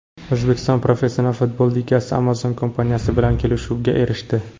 O‘zbekiston Professional futbol ligasi Amazon kompaniyasi bilan kelishuvga erishdi.